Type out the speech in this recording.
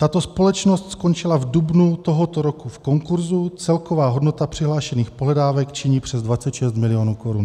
Tato společnost skončila v dubnu tohoto roku v konkurzu, celková hodnota přihlášených pohledávek činí přes 26 mil. korun.